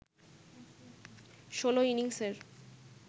১৬ ইনিংসের